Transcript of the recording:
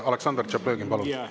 Aleksandr Tšaplõgin, palun!